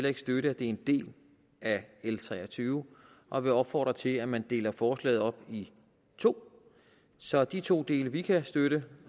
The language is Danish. ikke støtte at det er en del af l tre og tyve og vil opfordre til at man deler forslaget op i to så de to dele vi kan støtte